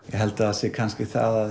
held að það sé kannski það að